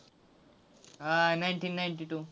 हां nineteen ninety-two